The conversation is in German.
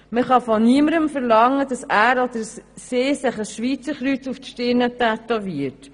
Man kann von niemandem verlangen, dass er oder sie sich ein Schweizerkreuz auf die Stirne tätowiert.